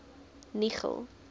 nigel